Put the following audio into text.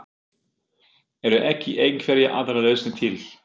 Eru ekki einhverjar aðrar lausnir til?